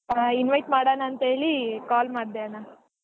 ಹಾ invite ಮಾಡಣಾ ಅಂತ ಹೇಳಿ call ಮಾಡ್ದೆ ಅಣ್ಣಾ.